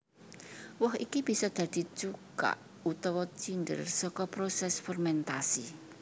Woh iki bisa dadi cuka utawa cinder saka prosés fermentasi